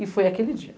E foi aquele dia.